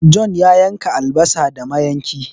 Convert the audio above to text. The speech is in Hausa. John ya yanka albasa da mayanki